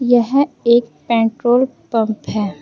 यह एक petrol pump है।